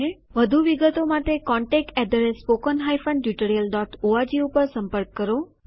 વધુ વિગતો માટે contactspoken tutorialorg ઉપર સંપર્ક કરો